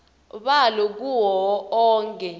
balo kuwo onkhe